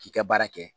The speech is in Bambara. K'i ka baara kɛ